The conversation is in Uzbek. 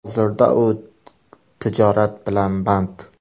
Hozirda u tijorat bilan band.